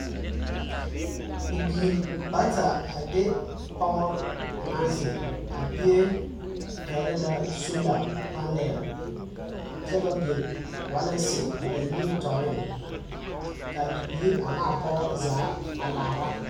Bibiiri bata a de pɔge naŋ zeŋ a bie pɛgle la solar panel kyɛ ba biŋ waalensi a ba nimitɔɔreŋ ka a bibiiri a ne a pɔge zaa a laara.